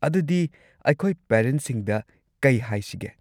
ꯑꯗꯨꯗꯤ, ꯑꯩꯈꯣꯏ ꯄꯦꯔꯦꯟꯠꯁꯤꯡꯗ ꯀꯩ ꯍꯥꯏꯁꯤꯒꯦ?